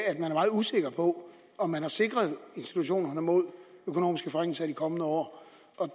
usikker på om man har sikret institutionerne mod økonomiske forringelser i de kommende år